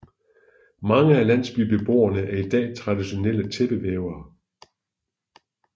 Mange af landsbybeboerne er i dag traditionelle tæppevævere